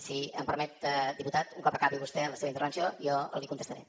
si em permet diputat un cop acabi vostè la seva intervenció jo li contestaré